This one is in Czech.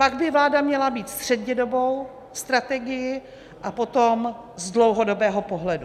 Pak by vláda měla mít střednědobou strategii a potom z dlouhodobého pohledu.